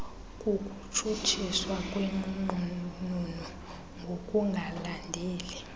kukutshutshiswa kwenqununu ngokungalandeli